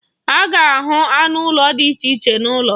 A ga-ahụ anụ ụlọ dị iche iche n'ụlọ.